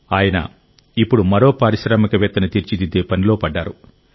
ఆయన ఇప్పుడు మరో పారిశ్రామికవేత్తని తీర్చిదిద్దే పనిలో పడ్డారు